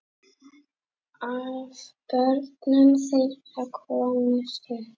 Af börnum þeirra komust upp